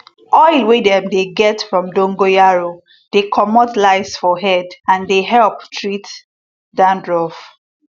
oil wey dem dey get from dongoyaro dey comot lice for head and dey help treat dandruff